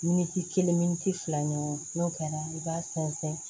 Miniti kelen fila ɲɔgɔn n'o kɛra i b'a sɛnsɛn